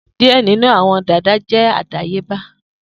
Diẹ ninu awọn dada jẹ adayeba.